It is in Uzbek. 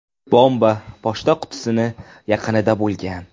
Bomba pochta qutisi yaqinida bo‘lgan.